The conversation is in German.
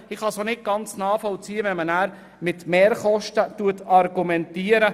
Ich kann auch nicht ganz nachvollziehen, wenn man hinterher mit Mehrkosten argumentiert.